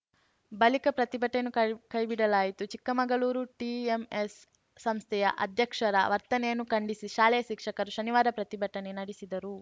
ಬಳಿಕ ಪ್ರತಿಭಟನೆಯನ್ನು ಕೈ ಕೈಬಿಡಲಾಯಿತು ಚಿಕ್ಕಮಗಳೂರಿನ ಟಿಎಂಎಸ್‌ ಸಂಸ್ಥೆಯ ಅಧ್ಯಕ್ಷರ ವರ್ತನೆಯನ್ನು ಖಂಡಿಸಿ ಶಾಲೆಯ ಶಿಕ್ಷಕರು ಶನಿವಾರ ಪ್ರತಿಭಟನೆ ನಡೆಸಿದರು